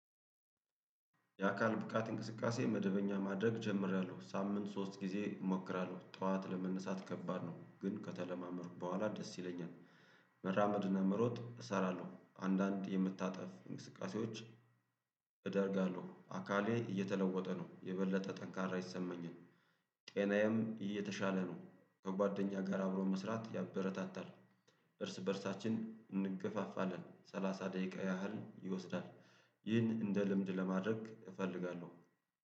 የአካል ብቃት እንቅስቃሴ መደበኛ ማድረግ ጀምሬያለሁ ሳምንት ሶስት ጊዜ እሞክራለሁ ጠዋት ለመነሳት ከባድ ነው ግን ከተለማመዱ በኋላ ደስ ይለኛል። መራመድና መሮጥ እሰራለሁ አንዳንድ የምታጠፍ እንቅስቃሴዎች። እደርጋለሁ አካሌ እየተለወጠ ነው የበለጠ ጠንካራ ይሰመኛል። ጤናዬም እየተሻለ ነው። ከጓደኛ ጋር አብሮ መስራት ያበረታታል። እርስ በእርሳችን እንገፋፋለን ሰላሳ ደቂቃ ያህል ይወስዳል። ይህን እንደ ልምድ ለማድረግ እፈልጋለሁ